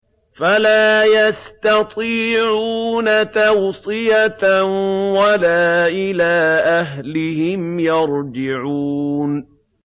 فَلَا يَسْتَطِيعُونَ تَوْصِيَةً وَلَا إِلَىٰ أَهْلِهِمْ يَرْجِعُونَ